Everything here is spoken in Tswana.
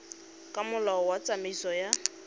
ka molao wa tsamaiso ya